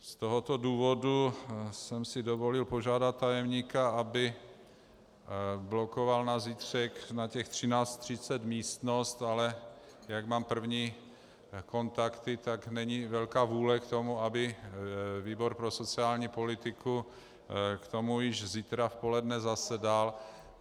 Z tohoto důvodu jsem si dovolil požádat tajemníka, aby blokoval na zítřek na těch 13.30 místnost, ale jak mám první kontakty, tak není velká vůle k tomu, aby výbor pro sociální politiku k tomu již zítra v poledne zasedal.